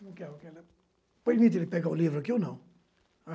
Permita que eu pegue o livro aqui ou não?